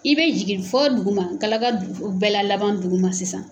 I bɛ jigin fɔ dugu ma galaka dugu bɛɛ la laban dugu ma sisan.